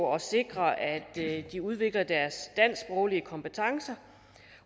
at sikre at de udvikler deres dansksproglige kompetencer